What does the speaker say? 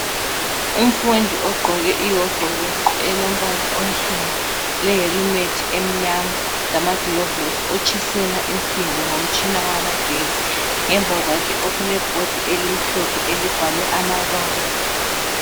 Umfundi ogqoke ihovolosi elombala onsundu lehelimethi emnyama lamagilovisi otshisela insimbi ngomtshina wamagetsi ngemva kwakhe okulebhodi elimhlophe elibhalwe amabala